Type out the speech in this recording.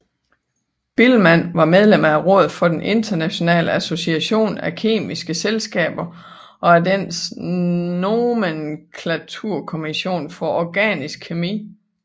Biilmann var medlem af rådet for den internationale association af kemiske selskaber og af dennes nomenklaturkommission for organisk kemi